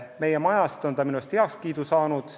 Meie majas on ta heakskiidu saanud.